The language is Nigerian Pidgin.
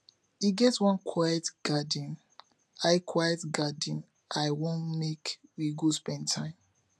e get one quiet garden i quiet garden i wan make we go spend time